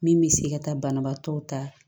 Min bɛ se ka taa banabaatɔw ta